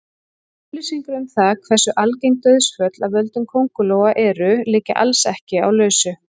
Upplýsingar um það hversu algeng dauðsföll af völdum köngulóa eru liggja alls ekki á lausu.